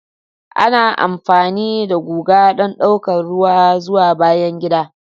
Ana amfani da guga don ɗaukar ruwa zuwa bayan gida.